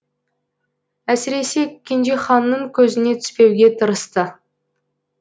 әсіресе кенжеханның көзіне түспеуге тырысты